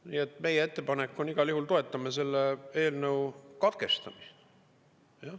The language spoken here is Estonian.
Nii et meie ettepanek on igal juhul see: toetame selle eelnõu katkestamist.